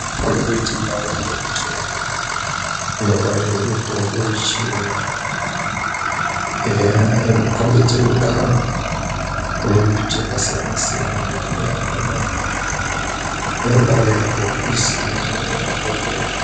...kombe kuite ndau yadhokoteya inongwarirwe mitombo yechiyungu. Eya inokombidze kudaro, ine mbiti yakasiyana-siyana mitombo yakona, noona ngemabhokisi amweni mabhohleya.